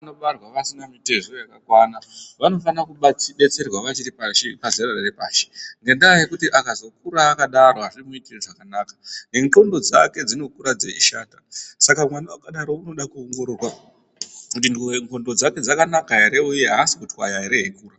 Vanobarwa vasina mitezo yakakwana vanofanire kudetserwa vachiri pashi pazero repashi ngendaya yekuti akazokura akadaro azvizomuitiri zvakanaka nendxondo dzake dzinokura dzeishata saka mwana akadaro unoda kuongororwa kuti ndxondo dzake dzakanaka ere uye haasi kutwaya ere?